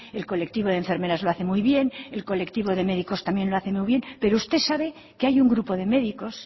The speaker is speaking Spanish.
el colectivo de enfermeras lo hace muy bien el colectivo de médicos también lo hace muy bien pero usted sabe que hay un grupo de médicos